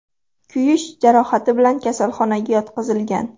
kuyish jarohati bilan kasalxonaga yotqizilgan.